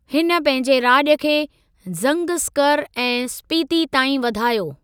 हिन पंहिंजे राॼ खे ज़ंगस्कर ऐं स्पीति ताईं वधायो।